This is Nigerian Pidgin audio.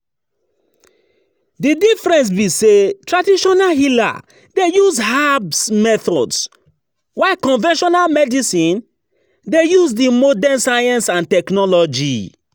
Di difference be say traditional healer dey use herbs methods while conventional medicine dey use di modern science and technology.